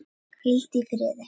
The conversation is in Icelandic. Hvíldu í friði.